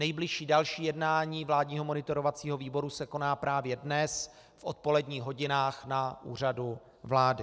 Nejbližší další jednání vládního monitorovacího výboru se koná právě dnes v odpoledních hodinách na Úřadu vlády.